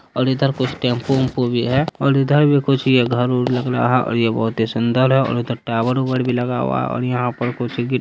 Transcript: और इधर कुछ टेम्पो - उमपु भी है और इधर भी कुछ यह घर ओर लग रहा है और ये बहुत ही सूंदर है और उधर टावर - आवर भी लगा हुआ है और यहाँ पर कुछ --